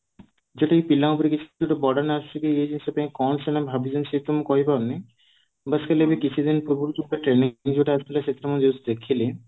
ଯଦି ପିଲା ଉପରେ ଯଦି କୀଚ burden ଆସୁଛି କି କି କଣ ସେ ଭାବିବେ ସେ ତ ମୁଁ କହି ପାରୁନି ବାସ ଖାଲି ଏମିତି ଯୋଉ କିଛି ଦିନ ପୂର୍ବରୁ training period ଆସିଥିଲା ସେଥିରେ ମୁଁ ଦେଖିଲି